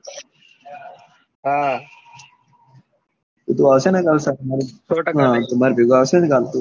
તો તું આવશે ને કાલ માર ભેગો આવશે ને કાલ તું?